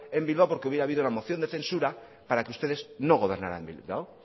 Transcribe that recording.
en bilbao porque hubiera habido una moción de censura para que ustedes no gobernaran en bilbao